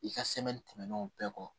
I ka tɛmɛnen o bɛɛ kɔ